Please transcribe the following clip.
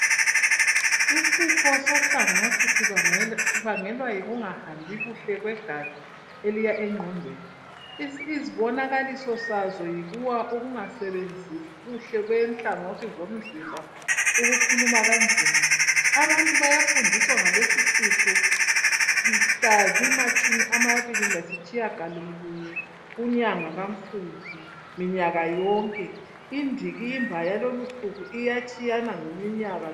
Isifo sohlangathi sibangelwa yikungahambi kuhle kwegazi, eliya engqondweni. Izibonakaliso sazo, yikuwa, ukungasebenzii kuhle kwenhlangothi, zomzimba, ukukhuluma kanzima. Abantu bayafundiswa ngalesisifo , mhla zimatshumi amabili, lasitshiyagalolunye, kunyanga kaMfumfu, minyaka yonke. Indikimba yalesisifo, iyatshiyana ngeminyaka.